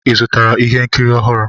Ị zụtara ihe nkiri ọhụrụ?